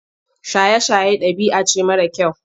Shaye-shaye ɗabi'a ce mara kyau.